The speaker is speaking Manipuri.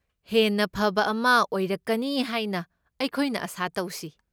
ꯍꯦꯟꯅ ꯐꯕ ꯑꯃ ꯑꯣꯏꯔꯛꯀꯅꯤ ꯍꯥꯏꯅ ꯑꯩꯈꯣꯏꯅ ꯑꯥꯁꯥ ꯇꯧꯁꯤ꯫